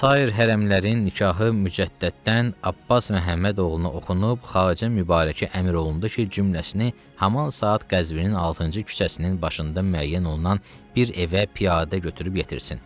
Sair hərəmlərin nikahı Mücəddətdən Abbas Məhəmmədoğluna oxunub xarici mübarəkə əmr olundu ki, cümlesini haman saat Qəzvinin altıncı küçəsinin başında müəyyən olunan bir evə piyadə götürüb yetirsin.